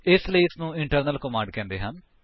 ਇਸਲਈ ਇਸਨੂੰ internal command ਕਹਿੰਦੇ ਹਨ